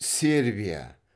сербия